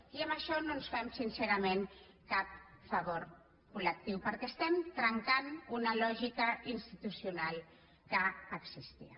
i amb això no ens fem sincerament cap favor col·lectiu perquè estem trencant una lògica institucional que existia